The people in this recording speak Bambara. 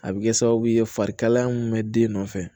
A bɛ kɛ sababu ye farikalaya mun bɛ den nɔfɛ